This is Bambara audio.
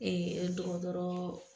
dɔkɔtɔrɔ